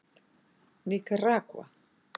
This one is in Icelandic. Níkaragva